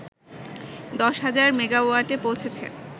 ১০ হাজার মেগাওয়াটে পৌঁছেছে